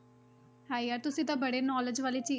ਹਾਏ ਯਾਰ ਤੁਸੀਂ ਤਾਂ ਬੜੇ knowledge ਵਾਲੀ